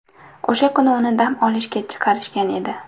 O‘sha kuni uni dam olishga chiqarishgan edi.